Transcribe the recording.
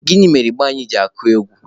Gịnị mere ịgba anyị ji akụ egwu?